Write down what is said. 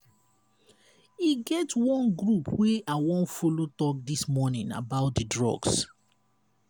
e get one group wey i wan follow talk dis morning about the drugs.